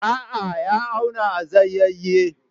A'a, ya auna a zayaye